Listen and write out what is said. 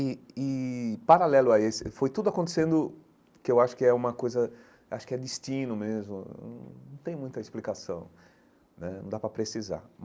E e, paralelo a esse, foi tudo acontecendo que eu acho que é uma coisa, acho que é destino mesmo, num não tem muita explicação né, não dá para precisar.